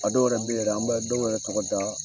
A dɔw yɛrɛ bɛ yen an bɛ dɔw yɛrɛ tɔgɔ da.